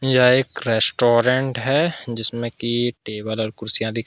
यह एक रेस्टोरेंट है जिसमें की टेबल और कुर्सियां दिख--